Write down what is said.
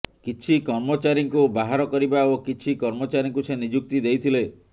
କିଛି କର୍ମଚାରୀଙ୍କୁ ବାହାର କରିବା ଓ କିଛି କର୍ମଚାରୀଙ୍କୁ ସେ ନିଯୁକ୍ତି ଦେଇଥିଲେ